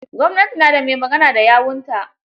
Gwamnati na da mai magana da yawunta.